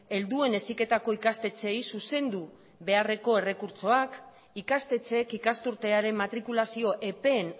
helduen heziketako ikastetxeei zuzendu beharreko errekurtsoak ikastetxeek ikasturtearen matrikulazio epeen